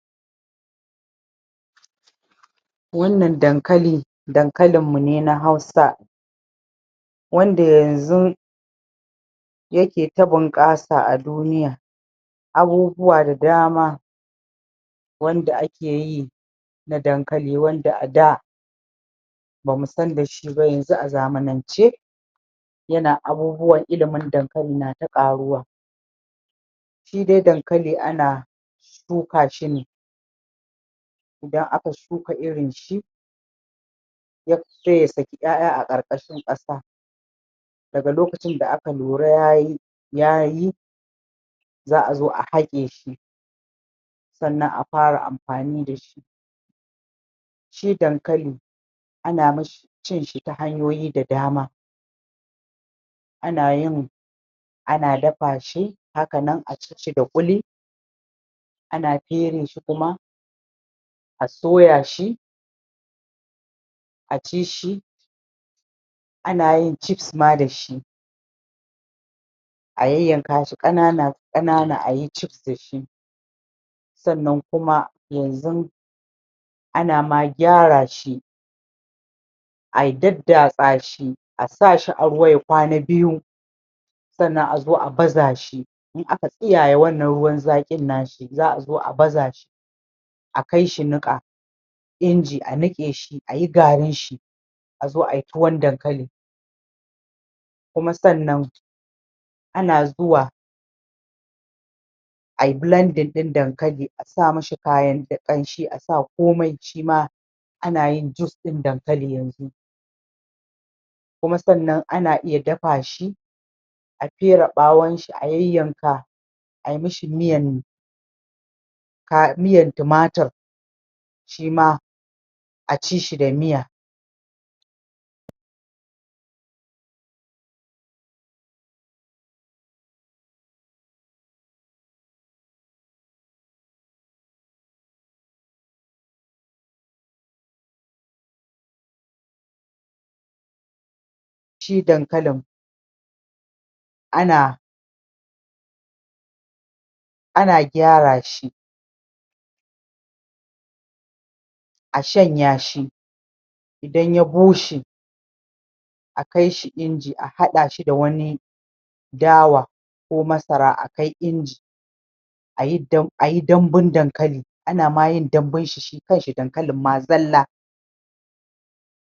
wannan Dankali Dankalinmu ne na Hausa wanda yanzun yake ta bunƙasa a duniya abubuwa da dama wanda ake yi da Dankali wanda a da bamu san da shi ba yanzu a zamanance yana abubuwan ilimin Dankali na ta ƙaruwa shi dai Dankali ana shuka shi ne idan aka shuka irin shi? sai ya saki 'ya'ya a ƙarƙashin ƙasa daga lokacin da aka lura yayi yayi za a zo a haƙe shi sannan a fara amfani da shi shi Dankali ana mashi cin shi ta hanyoyi da dama ana yin ana dafa shi hakan a ci shi da ƙuli ana fere shi kuma a soya shi a ci shi ana yin Chifs ma da shi a yayyanka shi ƙanana ƙanana ayi Chifs da shi sannan kuma yanzun ana ma gyara shi ai daddatsa shi a sa shi a ruwa ya kwana biyu sannan a zo a baza shi in aka tsiyaye wannan ruwan zaƙin na shi za a zo a baza shi akai shi niƙa Inji a niƙe shi a yi garinshi azo ai tuwan Dankali kuma sannan ana zuwa ai blanding ɗin Dankali a sa mishi kayan kamshi a sa komai shima ana jin juice ɗin Dankali yanzu kuma sannan ana iya dafa shi a fere ɓawonshi a yayyanka ai mishi miyan ka miyan tumatur shi ma a ci shi da miya shi Dankalin ana ana gyara shi a shanya shi idan ya bushe a kaishi Inji a haɗa shi da wani Dawa ko Masara akai inji ayi dam ayi dambun Dankali ana ma yin dambunshi shi kanshi Dankalin ma zalla